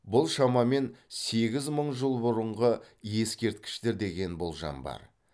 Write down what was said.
бұл шамамен сегіз мың жыл бұрынғы ескерткіштер деген болжам бар